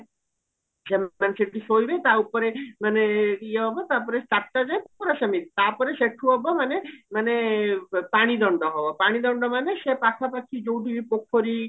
ସେମାନେ ସେଠି ଶୋଇବେ ତା ଉପରେ ମାନେ ଇଏ ହବ ତାପରେ ଚାରିଟା ଯାଏ ପୁରା ସେମିତି ତାପରେ ସେଠୁ ହବ ମାନେ ମାନେ ପାଣି ଦଣ୍ଡ ହବ ପାଣି ଦଣ୍ଡ ମାନେ ପାଖା ପାଖି ଯଉଠିବି ପୋଖରୀ